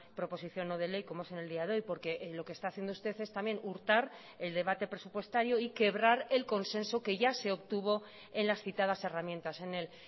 proposición no de ley como es en el día de hoy porque lo que está haciendo usted es también hurtar el debate presupuestario y quebrar el consenso que ya se obtuvo en las citadas herramientas en el